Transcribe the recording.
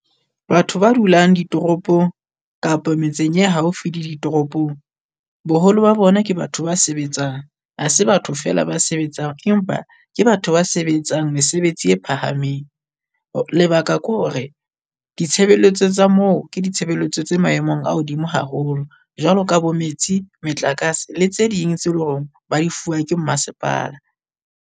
Batho ba dulang ditoropong kapa metseng e haufi le ditoropong. Boholo ba bona ke batho ba sebetsang, ha se batho feela ba sebetsang empa ke batho ba sebetsang mesebetsi e phahameng lebaka ke hore ditshebeletso tsa moo ke ditshebeletso tse maemong a hodimo haholo jwalo ka bo metsi, metlakase le tse ding tse leng hore ba di fua ke mmasepala.